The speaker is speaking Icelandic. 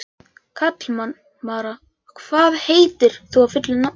Kalmara, hvað heitir þú fullu nafni?